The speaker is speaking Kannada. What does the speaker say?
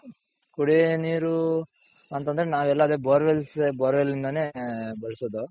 ಕುಡಿಯೋ ನೀರು ಅಂತಂದ್ರೆ ನಾವೆಲ್ಲಾ ಅದೇ bore wells bore well ಇಂದಾನೆ ಬಳಸೋದು.